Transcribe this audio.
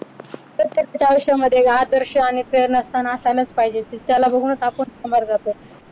तर ते त्यांच्या आयुष्यामध्ये आदर्श आणि प्रेरणास्थान असायलाच पाहिजे त्याला बघूनच आपण सामोरे जातो.